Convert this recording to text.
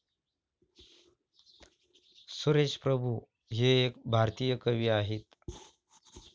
सुरेश प्रभू हे एक भारतीय कवी आहेत.